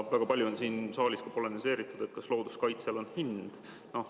Väga palju on siin saaliski polemiseeritud selle üle, kas looduskaitsel on hind.